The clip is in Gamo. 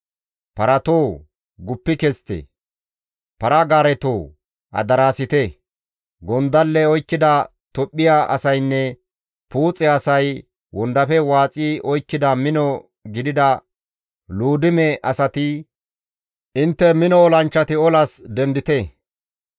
Paratoo guppi kezite; para-gaaretoo adaraasite; gondalle oykkida Tophphiya asaynne Puuxe asay, wondafe waaxi oykkida mino gidida Luudime asati, intte mino olanchchati olas dendite.